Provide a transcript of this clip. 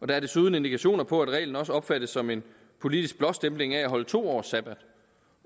der er desuden indikationer på at reglen også opfattes som en politisk blåstempling af at holde to års sabbat